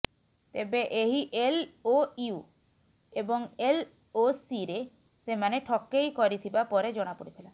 ତେବେ ଏହି ଏଲ୍ଓୟୁ ଏବଂ ଏଲ୍ଓସିରେ ସେମାନେ ଠକେଇ କରିଥିବା ପରେ ଜଣାପଡିଥିଲା